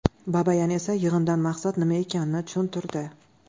Babayan esa yig‘indan maqsad nima ekanini tushuntirdi.